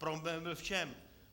Problém byl v čem?